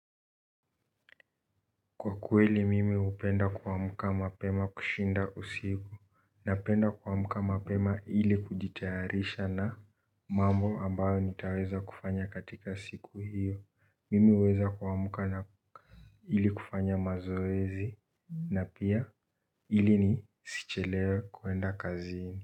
Kwa kweli mimi upenda kwa muka mapema kushinda usiku napenda kwamuka mapema ili kujitearisha na mambo ambayo nitaweza kufanya katika siku hiyo mimi weza kwamuka na ili kufanya mazoezi na pia ili nisichelewe kuenda kazini.